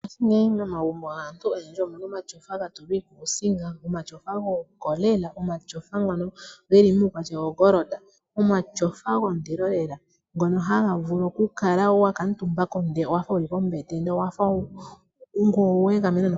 Ngashingeyi momagumbo ogendji omuna omashofa ga tulwa iikusinga omashofa gokolela, omashofa ngono geli muukwatya wongolonda. Omashofa gondilo lela ngono haga vulu okukala wa kuutumba ko ndele owafa wuli kombete.